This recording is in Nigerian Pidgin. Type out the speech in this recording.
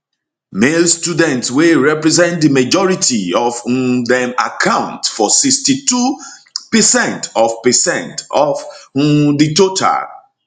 male students wey represent di majority of um dem account for 62 percent of percent of um di total